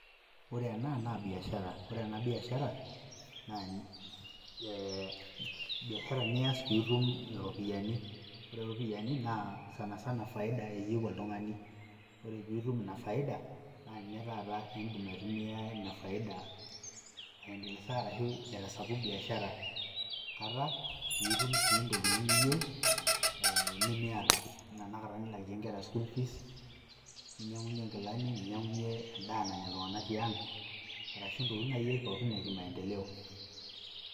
Ore ena na biashara. Ore ena biashara, na biashara nias pitum iropiyiani. Ore ropiyaiani, naa sanasana faida eyieu oltung'ani. Ore pitum ina faida ,na nye taata idim aitumia ina faida aendelesa arashu aitasapuk biashara, kata pitum si ntokiting' niyieu, nimiata. Enaa tanakata nilakie nkera school fees, ninyang'unye nkilani, ninyang'unye endaa nanya iltung'anak tiang',arashu ntokiting' nai ake pookin ekimaendeleo.